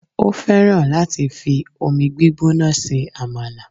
o fẹràn láti fi omi gbígbóná se amala